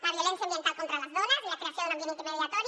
la violència ambiental contra les dones i la creació d’un ambient intimidatori